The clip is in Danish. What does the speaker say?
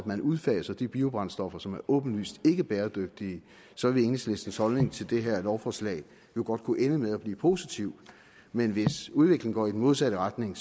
udfaser de biobrændstoffer som er åbenlyst ikkebæredygtige så vil enhedslistens holdning til det her lovforslag jo godt kunne ende med at blive positiv men hvis udviklingen går i den modsatte retning